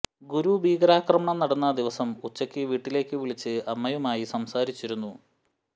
ഗുരു ഭീകരാക്രമണം നടന്ന ദിവസം ഉച്ചയ്ക്ക് വീട്ടിലേക്ക് വിളിച്ച് അമ്മയുമായി സംസാരിച്ചിരുന്നു